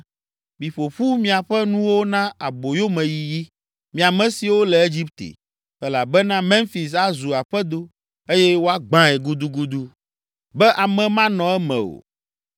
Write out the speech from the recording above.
Miƒo ƒu miaƒe nuwo na aboyomeyiyi, mi ame siwo le Egipte, elabena Memfis azu aƒedo eye woagbãe gudugudu be ame manɔ eme o.